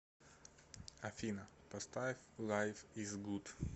афина поставь лайф из гуд